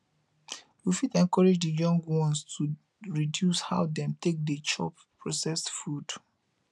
we fit encourage di young ones to reduce how dem take dey chop processed food